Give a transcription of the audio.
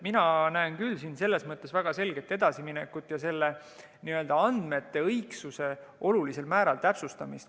Mina näen küll siin selles mõttes väga selget edasiminekut ja andmete õigsuse olulisel määral täpsustamist.